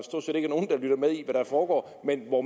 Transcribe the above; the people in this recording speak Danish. foregår men hvor